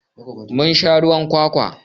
Mun sha ruwan kwakwa.